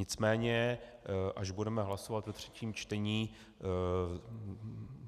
Nicméně až budeme hlasovat o třetím čtení,